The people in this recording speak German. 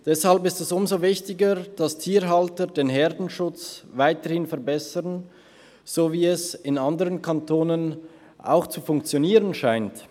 Deshalb ist es umso wichtiger, dass Tierhalter den Herdenschutz weiterhin verbessern, so wie es in anderen Kantonen auch zu funktionieren scheint.